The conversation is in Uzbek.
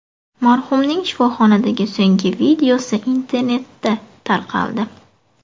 Marhumning shifoxonadagi so‘nggi videosi internetda tarqaldi.